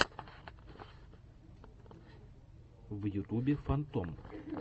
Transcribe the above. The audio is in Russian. в ютубе фантом